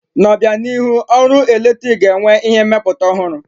N'obianihu, ọrụ eletrik ga-enwe ihe mmepụta ọhụrụ.